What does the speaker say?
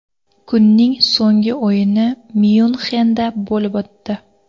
Kunning so‘nggi o‘yini Myunxenda bo‘lib o‘tdi.